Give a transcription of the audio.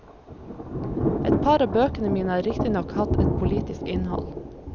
Et par av bøkene mine har riktignok hatt et politisk innhold.